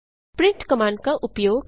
print command का उपयोग